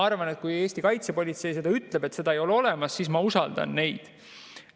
Kui Eesti kaitsepolitsei ütleb, et seda ei ole olemas, siis ma usaldan neid.